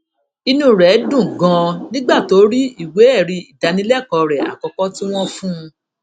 inú rè dùn ganan nígbà tó rí ìwé èrí ìdánilékòó rè àkókó tí wón fún un